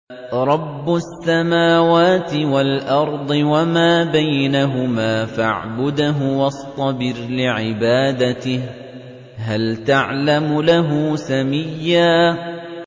رَّبُّ السَّمَاوَاتِ وَالْأَرْضِ وَمَا بَيْنَهُمَا فَاعْبُدْهُ وَاصْطَبِرْ لِعِبَادَتِهِ ۚ هَلْ تَعْلَمُ لَهُ سَمِيًّا